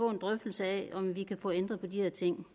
en drøftelse af om man kan få ændret på de her ting